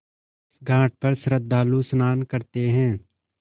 इस घाट पर श्रद्धालु स्नान करते हैं